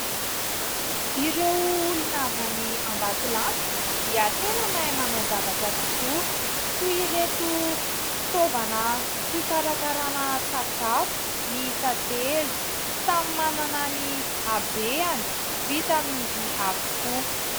Ireo olona avy any Ambatolampy dia tena mahay manao zavatra tokoa, toy ireto fitaovana fikarakarana sakafo miisa telo samy manana ny habeny, vita amin'ny vy avokoa.